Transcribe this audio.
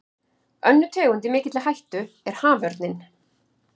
Önnur tegund í mikilli hættu er haförninn.